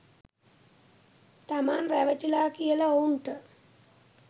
තමන් රැවටිලා කියලා ඔවුන්ට